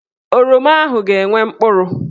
Oroma ahụ ga-enwe mkpụrụ.